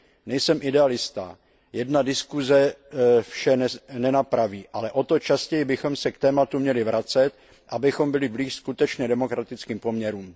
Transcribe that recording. Nejsem idealista, jedna diskuse vše nenapraví, ale o to častěji bychom se k tématu měli vracet, abychom byli blíže skutečně demokratickým poměrům.